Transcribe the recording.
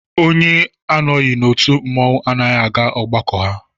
Onye anọghị n'otu mmọnwụ anaghị aga ọgbakọ ha